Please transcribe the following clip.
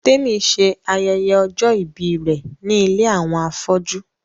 Témi ṣe ayẹyẹ ọjọ́-ìbí rẹ̀ ní ilé àwọn afọ́jú